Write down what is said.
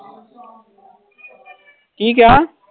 ਕੀ ਕਿਹਾ?